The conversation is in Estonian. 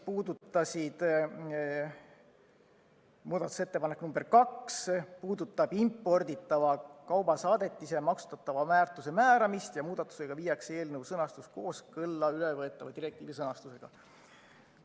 Muudatusettepanek nr 2 puudutab imporditava kaubasaadetise maksustatava väärtuse määramist ja muudatusega viiakse eelnõu sõnastus kooskõlla ülevõetava direktiivi sõnastusega.